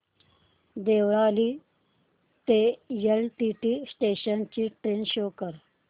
देवळाली ते LTT station ची train show कर